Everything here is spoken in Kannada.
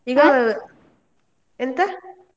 ಈಗ ಎಂತ.